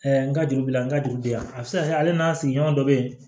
n ka juru bila n ka juru bɛ yan a bɛ se ka kɛ ale n'a sigiɲɔgɔn dɔ bɛ yen